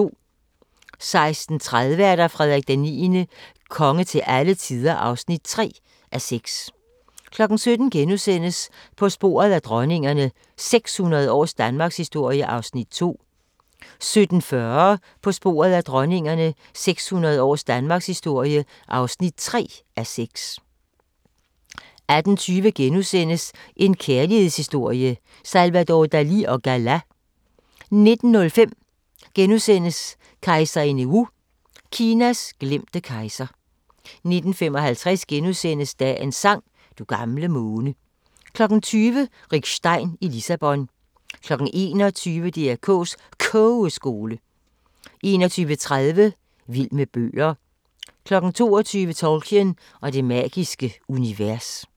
16:30: Frederik IX – konge til alle tider (3:6) 17:00: På sporet af dronningerne – 600 års danmarkshistorie (2:6)* 17:40: På sporet af dronningerne – 600 års danmarkshistorie (3:6) 18:20: En kærlighedshistorie – Salvador Dalì & Gala * 19:05: Kejserinde Wu – Kinas glemte kejser * 19:55: Dagens sang: Du gamle måne * 20:00: Rick Stein i Lissabon 21:00: DR K's Kogeskole 21:30: Vild med bøger 22:00: Tolkien og det magiske univers